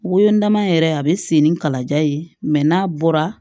Wolonma yɛrɛ a bɛ sen ni kalaja ye mɛ n'a bɔra